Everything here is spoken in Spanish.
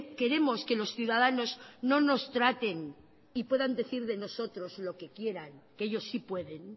queremos que los ciudadanos no nos traten y puedan decir de nosotros lo que quieran que ellos sí pueden